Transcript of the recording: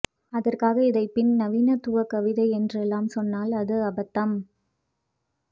அதற்காக இதை பின் நவீனத்துவ கதை என்றெல்லாம் சொன்னால் அது அபத்தம்